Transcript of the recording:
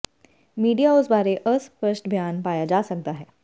media ਉਸ ਬਾਰੇ ਅਸਪਸ਼ਟ ਬਿਆਨ ਪਾਇਆ ਜਾ ਸਕਦਾ ਹੈ